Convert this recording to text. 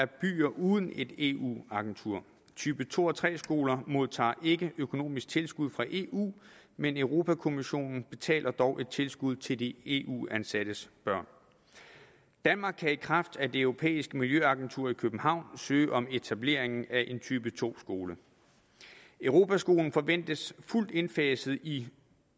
byer uden et eu agentur type to og tre skoler modtager ikke økonomisk tilskud fra eu men europa kommissionen betaler dog et tilskud til de eu ansattes børn danmark kan i kraft af det europæiske miljøagentur i københavn søge om etablering af en type to skole europaskolen forventes fuldt indfaset i